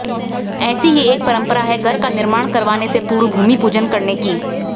ऐसी ही एक परंपरा है घर का निर्माण करवाने से पूर्व भूमि पूजन करने की